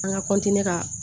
An ka ka